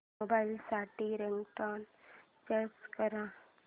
mobile साठी ringtone search कर